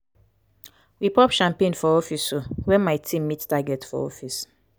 we pop champagne for office um wen my team meet target for office.